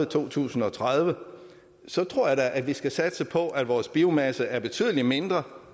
to tusind og tredive så tror jeg da at vi skal satse på at vores biomasse er betydelig mindre at